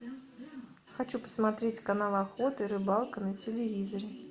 хочу посмотреть канал охота и рыбалка на телевизоре